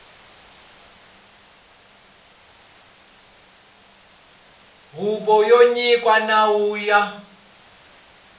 huvo yo nyika nawu ya